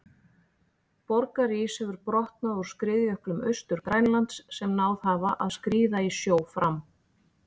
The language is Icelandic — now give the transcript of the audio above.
Borgarís hefur brotnað úr skriðjöklum Austur-Grænlands sem náð hafa að skríða í sjó fram.